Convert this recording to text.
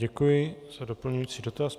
Děkuji za doplňující dotaz.